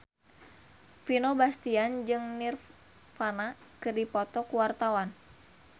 Vino Bastian jeung Nirvana keur dipoto ku wartawan